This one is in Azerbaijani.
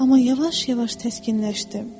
Amma yavaş-yavaş təskinləşdim.